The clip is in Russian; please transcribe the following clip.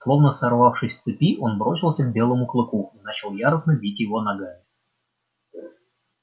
словно сорвавшись с цепи он бросился к белому клыку и начал яростно бить его ногами